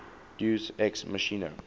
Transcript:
deus ex machina